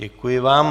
Děkuji vám.